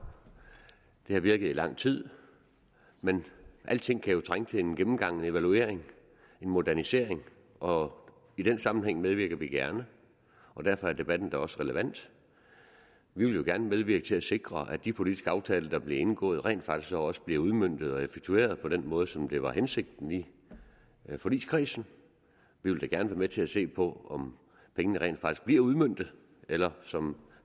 det har virket i lang tid men alting kan jo trænge til en gennemgang en evaluering en modernisering og i den sammenhæng medvirker vi gerne og derfor er debatten jo også relevant vi vil gerne medvirke til at sikre at de politiske aftaler der bliver indgået rent faktisk så også bliver udmøntet og effektueret på den måde som det var hensigten i forligskredsen vi vil da gerne være med til at se på om pengene rent faktisk bliver udmøntet eller som